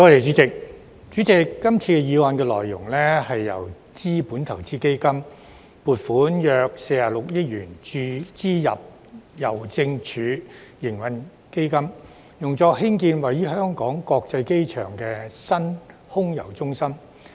主席，今次的議案內容，是由資本投資基金撥款約46億元注資郵政署營運基金，用作興建位於香港國際機場的新空郵中心。